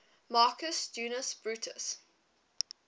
marcus junius brutus